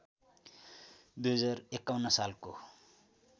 २०५१ सालको